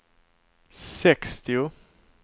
sextio